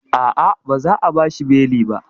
A'a, ba za a bashi beli ba